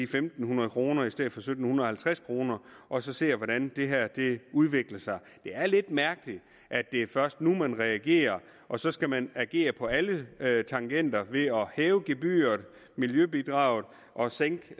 fem hundrede kroner i stedet for sytten halvtreds kroner og så ser hvordan det her udvikler sig det er lidt mærkeligt at det først er nu man reagerer og så skal man agere på alle alle tangenter ved at hæve gebyret miljøbidraget og sænke